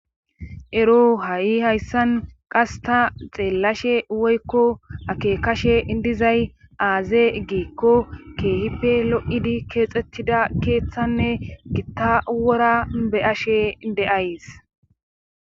ero ha7i hayssan qas ta xeellashe woykko akekashe dizay aaze giikko keehipe lo7idi keexettida keeththanne gitta wora beyashe deyays